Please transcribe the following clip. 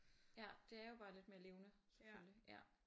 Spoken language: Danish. Ja det er jo bare lidt mere levende selvfølglig ja